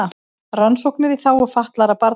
Rannsóknir í þágu fatlaðra barna